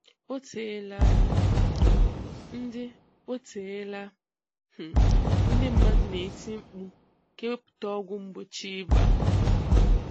Oteela um ndị Oteela um ndị mmadụ na-eti mkpu ka ewepụta ọgwụ mgbochi ịba